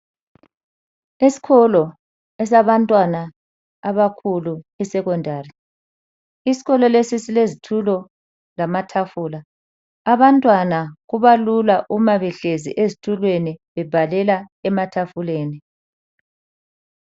Esikolo esabantwana abakhulu iSecondary. Isikolo lesi silezitulo lamatafula. Abantwana kubalula uma behlezi ezitulweni bebhalela ematafuleni.